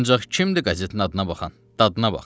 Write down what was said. Ancaq kimdir qəzetin adına baxan, dadına bax.